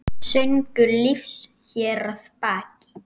Söngur lífs hér að baki.